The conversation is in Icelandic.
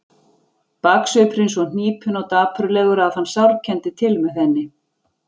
Baksvipurinn svo hnípinn og dapurlegur að hann sárkenndi til með henni.